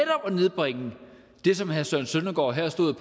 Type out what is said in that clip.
nedbringe det som herre søren søndergaard her stod